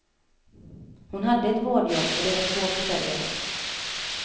Hon hade ett vårdjobb och de var två försörjare.